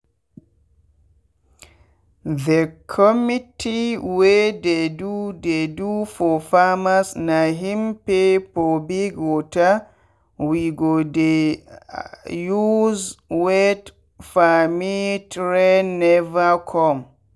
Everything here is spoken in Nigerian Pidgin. the committe wey dey do dey do for farmersna him pay for big water we go dey use wet farmif rain never come.